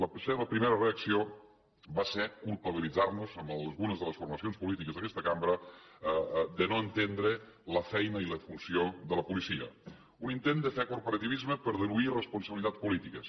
la seva primera reacció va ser culpabilitzar nos a algunes de les formacions polítiques d’aquesta cambra de no entendre la feina i la funció de la policia un intent de fer corporativisme per diluir responsabilitats polítiques